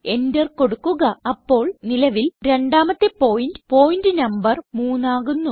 enter കൊടുക്കുക അപ്പോൾ നിലവിൽ രണ്ടാമത്തെ പോയിന്റ് പോയിന്റ് നംബർ 3 ആകുന്നു